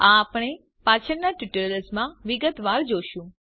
આ આપણે પાછળના ટ્યુટોરિયલ્સ માં વિગતવાર જોશું